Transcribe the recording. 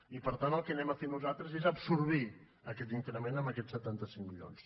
i per tant el que farem nosaltres és absorbir aquest increment amb aquests setanta cinc milions